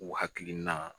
U hakilina